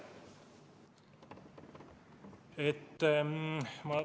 Aitäh!